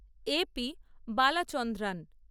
A P Balachandran